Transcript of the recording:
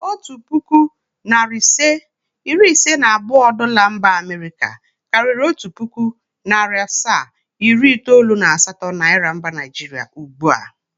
Otu pụkụ, narị ise, iri iise na abụọ Dola mba Amịrịka karịṛ otu pụkụ, narị asaa, iri itoolu na asatọ niara mba naịjrịa ugbua.